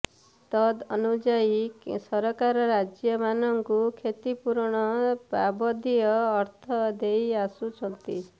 ତଦନୁଯାୟୀ କେନ୍ଦ୍ର ସରକାର ରାଜ୍ୟମାନଙ୍କୁ କ୍ଷତିପୂରଣ ବାବଦୀୟ ଅର୍ଥ ଦେଇ ଆସୁଛନ୍ତି